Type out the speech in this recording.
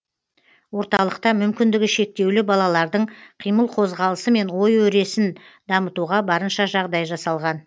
орталықта мүмкіндігі шектеулі балалардың қимыл қозғалысы мен ой өресін дамытуға барынша жағдай жасалған